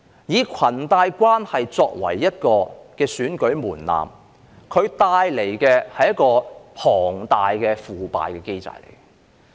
以裙帶關係作為一個選舉門檻，它帶來的是龐大的腐敗機制。